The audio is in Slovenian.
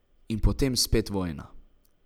In potem spet vojna.